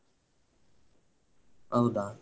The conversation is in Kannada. ಹೌದಾ.